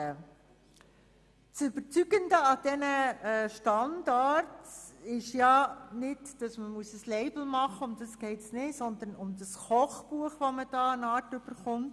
Das Überzeugende daran ist, nicht bei einem Label mitmachen zu müssen, sondern damit eine Art Kochbuch zu erhalten.